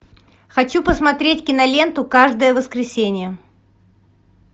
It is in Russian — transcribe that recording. хочу посмотреть киноленту каждое воскресенье